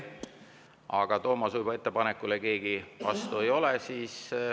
Aga Toomas Uibo ettepanekule keegi vastu ei ole.